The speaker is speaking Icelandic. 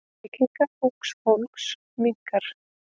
Reykingar ungs fólks minnka.